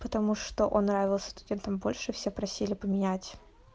потому что он нравился студентам больше все просили поменять